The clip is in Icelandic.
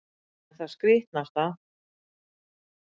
En það skrítnasta